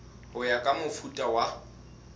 ho ya ka mofuta wa